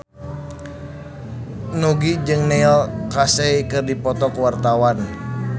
Nugie jeung Neil Casey keur dipoto ku wartawan